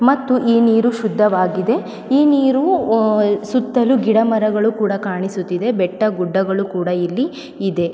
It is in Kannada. ಮತ್ತು ಈ ನೀರು ಶುದ್ಧವಾಗಿದೆ ಈ ನೀರು ಸುತ್ತಲೂ ಗಿಡ ಮರಗಳು ಕೂಡ ಕಾಣಿಸುತ್ತಿದೆ ಬೆಟ್ಟಗುಡ್ಡಗಳು ಕೂಡ ಇಲ್ಲಿ ಇದೆ.